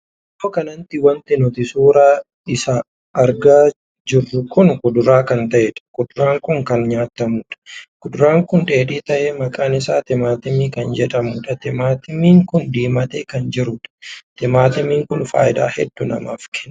Iddoo kanatti wanti nuti suuraa isaa argaa jirru kun kuduraa kan taheedha. kuduraan kun kan nyaatamuudha. kuduraan kun dheedhii tahee maqaan isaa timaatimii kan jedhamudha. timaatimiin kun diimatee kan jirudha. timaatimiin kun faayidaa hedduu namaaf kenna.